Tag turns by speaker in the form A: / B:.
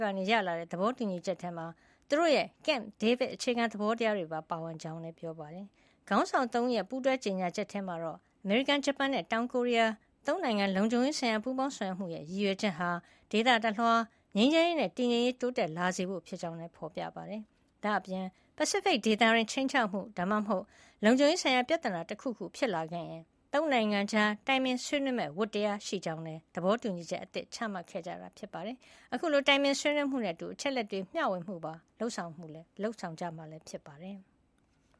A: ကနေ ရလာတဲ့သဘောတူညီချက်ထဲမှာ သူတို့ရဲ့ Camp David အခြေခံသဘောတရားတွေပါ ပါဝင်ကြောင်းလည်း ပြောပါတယ်။ ခေါင်းဆောင် ၃ ဦးရဲ့ ပူးတွဲကြေညာချက်ထဲမှာတော့ အမေရိကန်၊ ဂျပန်နဲ့ တောင်ကိုရီးယား ၃ နိုင်ငံ လုံခြုံရေးဆိုင်ရာပူးပေါင်းဆောင်ရွက်မှုရဲ့ ရည်ရွယ်ချက်ဟာ ဒေသတလွှား ငြိမ်းချမ်းရေးနဲ့တည်ငြိမ်ရေး တိုးတက်လာစေဖို့ဖြစ်ကြောင်းလည်း ဖေါ်ပြထားပါတယ်။ ဒါ့အပြင် ပစိဖိတ်ဒေသတွင်း ခြိမ်းခြောက်မှု ဒါမှမဟုတ် လုံခြုံရေးဆိုင်ရာပြဿနာတခုခု ဖြစ်လာခဲ့ရင် ၃ နိုင်ငံကြား တိုင်ပင်ဆွေးနွေးမယ့်ဝတ္တရားရှိကြောင်းလည်း သဘောတူညီချက်အသစ်ချမှတ်ခဲ့ကြတာဖြစ်ပါတယ်။ အခုလို တိုင်ပင်ဆွေးနွေးမှုနဲ့အတူ အချက်အလက်တွေ မျှဝေမှုပါ လုပ်ဆောင်မှာလည်း ဖြစ်ပါတယ်။